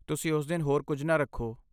ਤੁਸੀਂ ਉਸ ਦਿਨ ਹੋਰ ਕੁਝ ਨਾ ਰੱਖੋ।